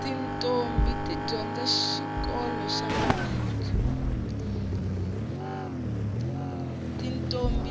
titombhi